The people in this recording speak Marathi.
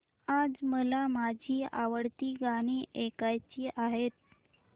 आज मला माझी आवडती गाणी ऐकायची आहेत